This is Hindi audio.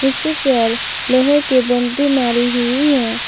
लोहे की बोंड्री मारी हुई है।